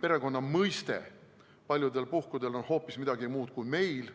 Perekonna mõiste on paljudel puhkudel hoopis midagi muud kui meil,